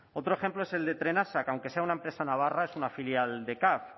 otro ejemplo es el de trenasa que aunque sea una empresa navarra es una filial de caf